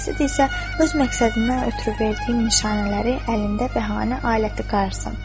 Qasib isə öz məqsədindən ötrü verdiyim nişanələri əlində bəhanə, aləti qarsın.